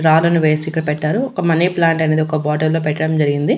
రాళ్ళను వేసి ఇక్క పెట్టారు ఒక మనీ ప్లాంట్ అనేది ఒక బాటల్లో పెట్టడం జరిగింది.